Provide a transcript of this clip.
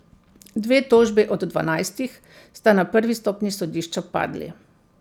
Dve tožbi od dvanajstih sta na prvi stopnji sodišča padli.